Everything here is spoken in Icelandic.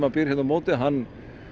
hérna á móti hann